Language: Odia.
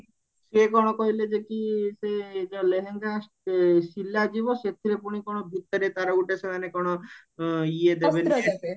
ସିଏ କଣ କହିଲେ ଯେ କି ସେ ଯୋଉ ଲେହେଙ୍ଗା ସିଲା ଯିବା ସେଥିରେ ପୁଣି କଣ ଭିତରେ ତାର ଗୋଟେ ସେମାନେ କଣ ଇଏ ଦେବେ